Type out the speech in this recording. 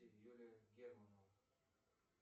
юлия германова